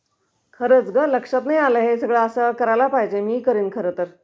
खरचं गं लक्षात नाही आलं हे...सगळं असं करायला पाहिजे...मी बी करीन खर तर..